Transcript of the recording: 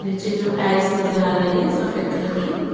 नीचे जो टाइल्स नजर आ रही है सफेद कलर की।